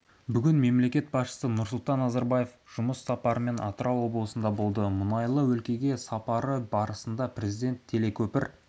бүгін мемлекет басшысы нұрсұлтан назарбаев жұмыс сапарымен атырау облысында болды мұнайлы өлкеге сапары барысында президент телекөпір